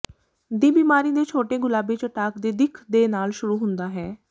ਦੀ ਬਿਮਾਰੀ ਦੇ ਛੋਟੇ ਗੁਲਾਬੀ ਚਟਾਕ ਦੀ ਦਿੱਖ ਦੇ ਨਾਲ ਸ਼ੁਰੂ ਹੁੰਦਾ ਹੈ